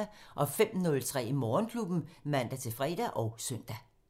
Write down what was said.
05:03: Morgenklubben (man-fre og søn)